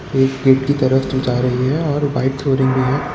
एक गेट की तरफ जो जा रही है और व्हाइट फ्लोरिंग भी है।